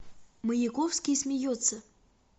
маяковский смеется